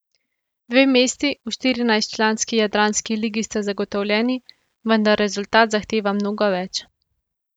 Dve mesti v štirinajstčlanski jadranski ligi sta zagotovljeni, vendar rezultat zahteva mnogo več.